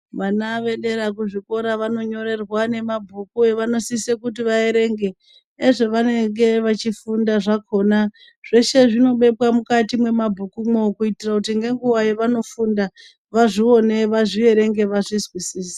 Vana vedera kuzvikora vanonyorerwa nemabhuku avanosisa kuti vaerenge ezvavanenge vechifunda zvakona zveshe zvinobekwa mukati mwemabhuku mwoo kuitira kuti nguva yavanofunda vazvione vazvierenge vazvizwisise.